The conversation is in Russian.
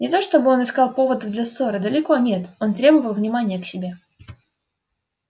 не то чтобы он искал поводов для ссоры далеко нет он требовал внимания к себе